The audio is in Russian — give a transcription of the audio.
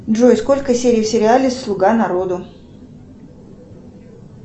джой сколько серий в сериале слуга народа